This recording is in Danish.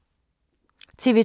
TV 2